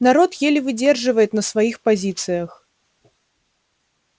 народ еле выдерживает на своих позициях